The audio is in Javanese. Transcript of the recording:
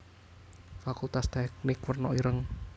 Fakultas Teknik werna ireng